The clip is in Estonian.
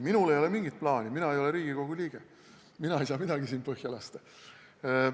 Minul ei ole mingit plaani, mina ei ole Riigikogu liige, mina ei saa siin midagi põhja lasta.